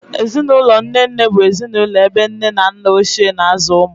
Ezinụlọ nne nne bụ ezinụlọ ebe nne na nna Ochie na-azụ ụmụ.